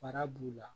Fara b'u la